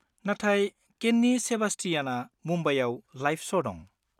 -नाथाय केन्नि सेबास्टियाना मुम्बाइआव लाइभ श' दं।